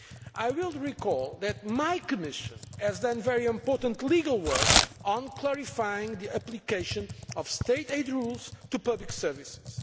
I will point out that my Commission has done very important legal work on clarifying the application of state aid rules to public services.